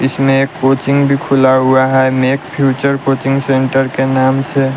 इसमें एक कोचिंग भी खुला हुआ है मेक फ्यूचर कोचिंग सेंटर के नाम से।